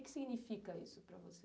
O que significa isso para você?